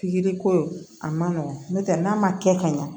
Pikiri ko a man nɔgɔn n'o tɛ n'a ma kɛ ka ɲa